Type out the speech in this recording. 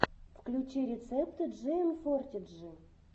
включи рецепты джиэмфортиджи